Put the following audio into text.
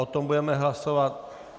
O tom budeme hlasovat.